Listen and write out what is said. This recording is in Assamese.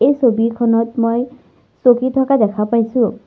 এই ছবিখনত মই চকী থকা দেখা পাইছোঁ।